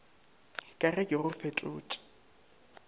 ka ge ke go fetotše